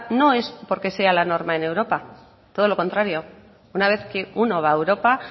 no es porque sea la norma en europa todo lo contrario una vez que uno va a europa